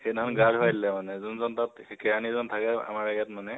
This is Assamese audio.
সেইদিনাখন গা ধুৱাই দিলে মানে, যোনজন তাত, সেই কেৰাণীজন থাকে আমাৰ ইয়াত মানে